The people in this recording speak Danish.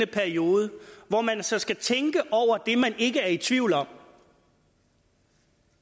periode hvor man så skal tænke over det man ikke er i tvivl om